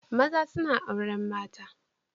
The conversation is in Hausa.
Maza suna auren mata.